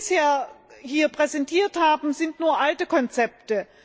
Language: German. Was Sie bisher hier präsentiert haben, sind nur alte Konzepte.